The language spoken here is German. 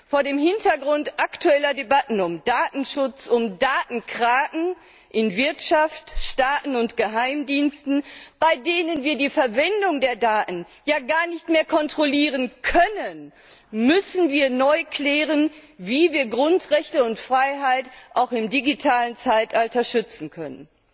Vor dem Hintergrund aktueller Debatten um Datenschutz, um Datenkraken in Wirtschaft, Staaten und Geheimdiensten, bei denen wir die Verwendung der Daten ja gar nicht mehr kontrollieren können, müssen wir neu klären, wie wir Grundrechte und freiheiten auch im digitalen Zeitalter schützen können.